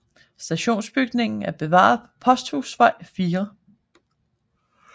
Stationsbygningen er bevaret på Posthusvej 4